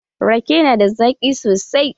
Rake na da zaƙi sosai.